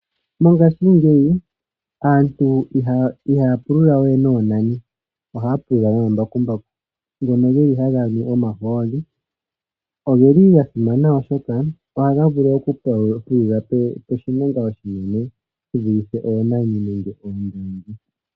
Mongashingeyi aantu ihaya pululawe noonani. Ohaya pulula nombakumbaku ngono geli haga nu omahooli, nogeli gasimana oshoka ohaga vulu oku pululapo oshimenka oshinene shivulithe oonani nenge oondongi.